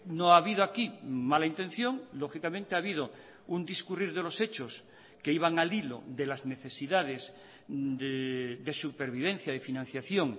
no ha habido aquí mala intención lógicamente ha habido un discurrir de los hechos que iban al hilo de las necesidades de supervivencia de financiación